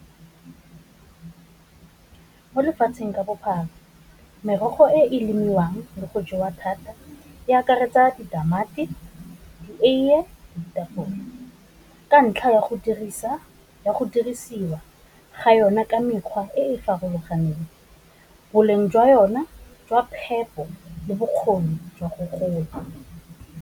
Mo lefatsheng ka bophara merogo e e lemiwang le go jewa thata, e akaretsa ditamati, eiye, ditapole, ka ntlha ya go dirisiwa ga yona ka mekgwa e e farologaneng, boleng jwa yone jwa phepo le bokgoni jwa go gola.